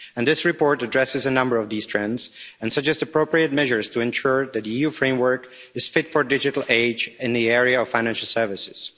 This report addresses a number of these trends and suggests appropriate measures to ensure that the EU framework is fit for a digital age in the area of financial services.